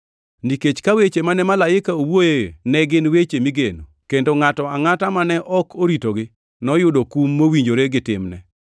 Nikech ka weche mane malaike owuoyoe ne gin weche migeno, kendo ngʼato angʼata mane ok oritogi noyudo kum mowinjore gi timne,